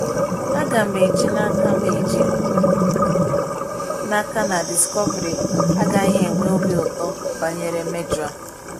Aga m eji n'aka m eji n'aka na Discovery agaghị enwe obi ụtọ banyere mmejọ a.